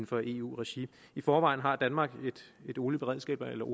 for eu regi i forvejen har danmark et olieberedskab eller